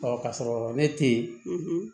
ka sɔrɔ ne te yen